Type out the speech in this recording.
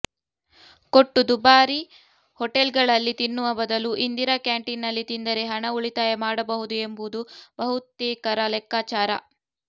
ಕೊಟ್ಟು ದುಬಾರಿ ಹೋಟೆಲ್ಗಳಲ್ಲಿ ತಿನ್ನುವ ಬದಲು ಇಂದಿರಾ ಕ್ಯಾಂಟೀನ್ನಲ್ಲಿ ತಿಂದರೆ ಹಣ ಉಳಿತಾಯ ಮಾಡಬಹುದು ಎಂಬುದು ಬಹುತೇಕರ ಲೆಕ್ಕಾಚಾರ